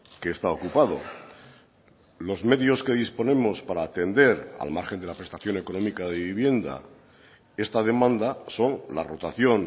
que está ocupado los medios que disponemos para atender al margen de la prestación económica de vivienda esta demanda son la rotación